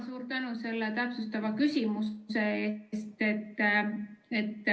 Suur tänu selle täpsustava küsimuse eest!